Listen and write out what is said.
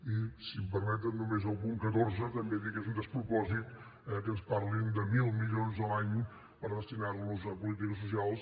i si m’ho permeten només del punt catorze també dir que és un despropòsit que ens parlin de mil milions l’any per destinar los a polítiques socials